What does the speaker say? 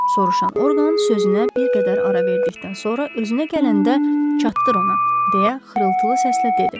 Soruşan Orqan sözünə bir qədər ara verdikdən sonra özünə gələndə çatdır ona, deyə xırıltılı səslə dedi.